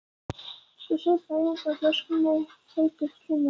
Ég saup hlæjandi á flöskunni, heitur í kinnum.